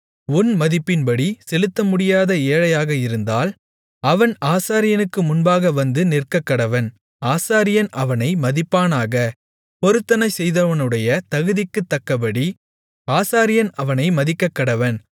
உன் மதிப்பின்படி செலுத்தமுடியாத ஏழையாக இருந்தால் அவன் ஆசாரியனுக்கு முன்பாக வந்து நிற்கக்கடவன் ஆசாரியன் அவனை மதிப்பானாக பொருத்தனைசெய்தவனுடைய தகுதிக்குத் தக்கபடி ஆசாரியன் அவனை மதிக்கக்கடவன்